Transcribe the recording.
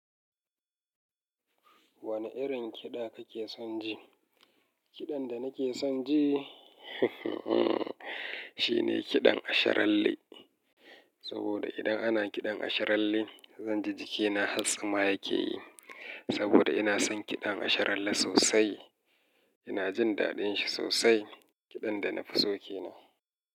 Wane irin kiɗa kake son ji? Kiɗan da nake son ji, shine kiɗan asharalle. Saboda idan ana kiɗan asharalle, zan ji jikina hatstsima yake yi. Saboda ina son kiɗan asharalle sosai. Ina jin daɗin shi sosai, kiɗan da na fi so ke nan.